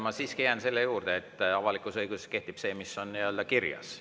Ma siiski jään selle juurde, et avalikus õiguses kehtib see, mis on kirjas.